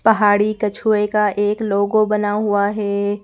पहाड़ी कछुए का एक लोगो बना हुआ है।